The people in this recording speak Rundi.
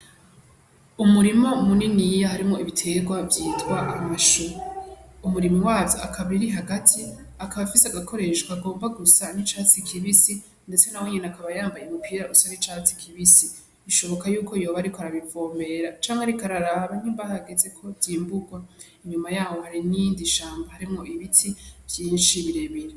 Umurima muniniya harimwo ibitegwa vyitwa amashu, umurimyi wavyo akaba ari hagati akaba afise agakoresho kagomba gusa n'icatsi kibisi ndetse na wenyene akaba yambaye umupira usa n'icatsi kibisi, bishoboka yuko yoba ariko arabivomera canke ariko araraba nyimba hageze ko vyimburwa, inyuma yaho hari n'iyindi shamba harimwo ibiti vyinshi birebire.